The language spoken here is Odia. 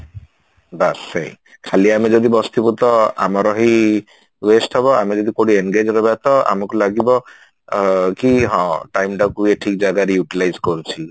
ବାସ୍ ସେଇ ଖାଲି ଆମେ ଯଦି ବସିଥିବୁ ତ ଆମର ହି ହେଇ waste ହବ ଆମେ ଯଦି କଉଠି engage ରହିବା ତ ଆମକୁ ଲାଗିବ ଅ କି ହଁ time ଟା ଏ ଠିକ ଜାଗାରେ Utilize କରୁଛି